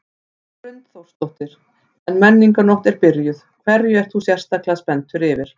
Hrund Þórsdóttir: En Menningarnótt er byrjuð, hverju ert þú sérstaklega spenntur yfir?